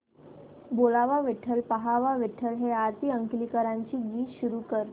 बोलावा विठ्ठल पहावा विठ्ठल हे आरती अंकलीकरांचे गीत सुरू कर